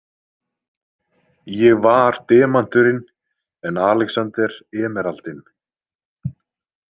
Ég var demanturinn en Alexander emeraldinn.